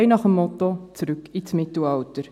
Frei nach dem Motto: Zurück ins Mittelalter.